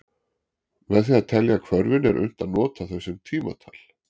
Með því að telja hvörfin er unnt að nota þau sem tímatal.